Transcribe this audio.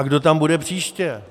A kdo tam bude příště?